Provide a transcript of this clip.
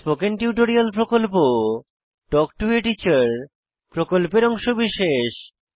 spoken tutorial প্রকল্প talk to a teacher প্রকল্পের অংশবিশেষ